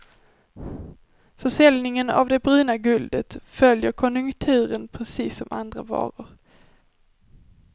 Försäljningen av det bruna guldet följer konjunkturen precis som andra varor.